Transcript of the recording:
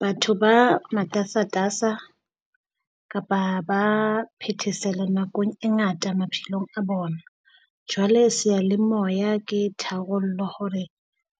Batho ba matasatasa kapa ba phethesela nakong e ngata maphelong a bona. Jwale seyalemoya ke tharollo hore